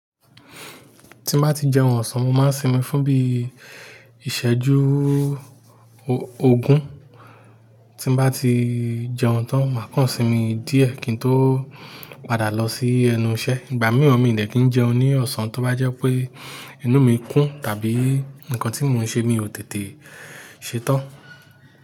Tí bá ti jẹun ọ̀sán, mo máa ń sinmi fún bí i ìṣẹ́jú ogún. Tí bá ti jẹun tán, màá kàn sinmi díẹ̀ kí n tó padà lọ sí ẹnu iṣẹ́. Ìgbà mìíràn mi de kí jẹun ní ọ̀sán tó bá jẹ́ pé inú mi kún tàbí nǹkan tí mò ń ṣe mi ò tètè ṣetán.